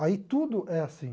Aí tudo é assim.